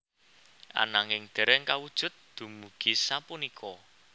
Ananging dereng kawujud dumugi sapunika